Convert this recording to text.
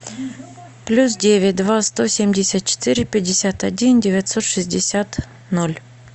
плюс девять два сто семьдесят четыре пятьдесят один девятьсот шестьдесят ноль